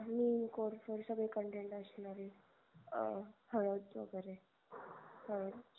निम कोरफड सगळे content असणारे अं हडद वगेरे ह